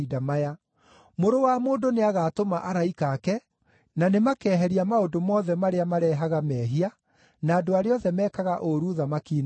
Mũrũ wa Mũndũ nĩagatũma araika ake, na nĩmakeheria maũndũ mothe marĩa marehaga mehia na andũ arĩa othe mekaga ũũru ũthamaki-inĩ wake.